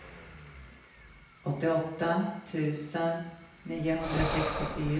åttioåtta tusen niohundrasextiofyra